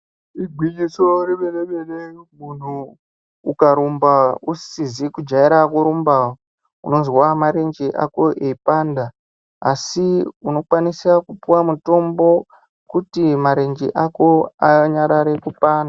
Igwinyiso remene-mene munhu ukarumba uzizi kujaira kurumba unozwa marenje ako eipanda asi unikwanisa kupuws mutombo kuti marenje ako anyarare kupanda.